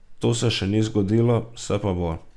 To se še ni zgodilo, se pa bo.